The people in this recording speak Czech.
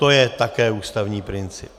To je také ústavní princip.